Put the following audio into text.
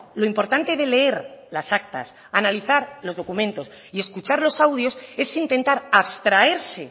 lo importante de leer las actas analizar los documentos y escuchar los audios es intentar abstraerse